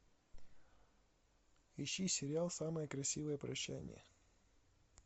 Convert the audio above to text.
ищи сериал самое красивое прощание